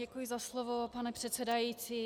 Děkuji za slovo, pane předsedající.